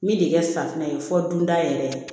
Min de kɛ safunɛ ye fɔ dunda yɛrɛ ye